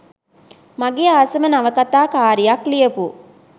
මගේ ආසම නවකතා කාරියක් ලියපු.